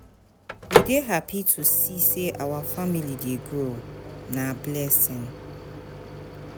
We dey happy to see sey our family dey grow, na blessing.